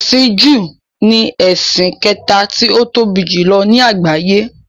“Ẹ̀sìn júù” ni ẹ̀sìn kẹta tí ó tóbi jùlọ ní àgbáyé.